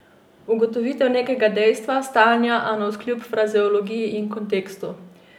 Ugotovitev nekega dejstva, stanja, navkljub frazeologiji in kontekstu.